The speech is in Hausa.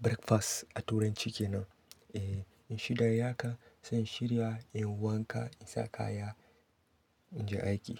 breakfast a turanci kenan. Eh in shida yayi haka zan shirya, in yi wanka, in sa kaya, in je aiki.